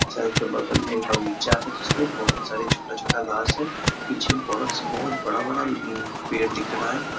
चाय के बगल में एक बगीचा है जिसमें बहुत सारे छोटा-छोटा घास है पीछे बड़ा सा बहुत बड़ा-बड़ा उम्म पेड़ दिख रहा है।